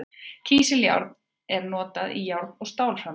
Kísiljárn er notað í járn- og stálframleiðslu.